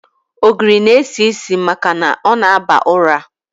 Ogiri n-esi isi maka na ọ na-aba ọra.